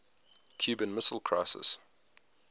cuban missile crisis